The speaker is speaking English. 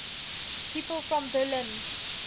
people from berlin